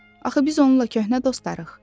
Axı biz onunla köhnə dostlarıq.